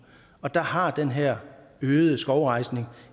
der har den her øgede skovrejsning